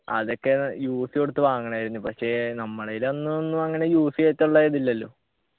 അതൊക്കെ UC കൊടുത്തു വാങ്ങണായിരുന്നു പക്ഷെ നമ്മളെയില് അന്നൊന്നും അങ്ങനെ UC വെക്കാനുള്ളെ ഇതില്ലല്ലോ